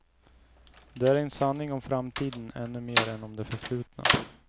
Det är en sanning om framtiden ännu mer än om det förflutna.